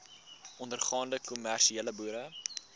ondergaande kommersiële boere